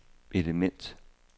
element